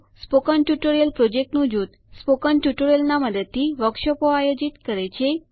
spoken tutorial પ્રોજેક્ટનું જૂથ spoken ટ્યુટોરિયલના મદદથી વર્કશોપો આયોજિત કરે છે